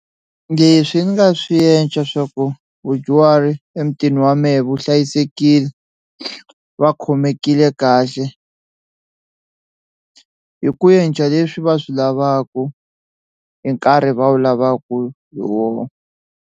Leswi ni nga swi enca swa ku vadyuhari emutini wa mehe vuhlayisekile va khomekile kahle hi ku enca leswi va swi lavaku hi nkarhi va wu lavaku hi wona.